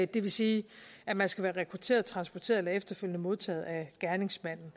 det vil sige at man skal være rekrutteret transporteret eller efterfølgende modtaget af gerningsmanden